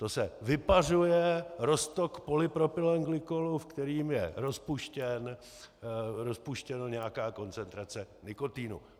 To se vypařuje roztok polypropylenglykolu, ve kterém je rozpuštěna nějaká koncentrace nikotinu.